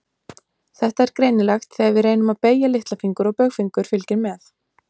Þetta er greinilegt þegar við reynum að beygja litlafingur og baugfingur fylgir með.